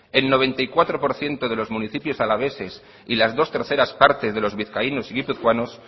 el noventa y cuatro por ciento de los municipios alaveses y las dos terceras partes de los vizcaínos y guipuzcoanos